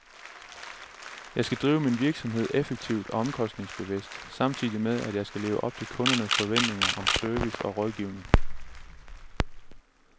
Jeg skal drive min virksomhed effektivt og omkostningsbevidst, samtidig med at jeg skal leve op til kundernes forventninger om service og rådgivning.